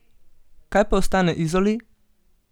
Kaj pa ostane Izoli?